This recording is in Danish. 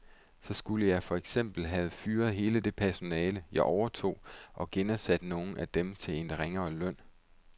Så skulle jeg for eksempel have fyret hele det personale, jeg overtog, og genansat nogle af dem til en ringere løn.